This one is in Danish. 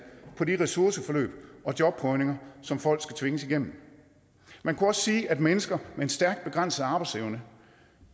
på de ressourceforløb og jobprøvninger som folk skal tvinges igennem man kunne også sige at mennesker med en stærkt begrænset arbejdsevne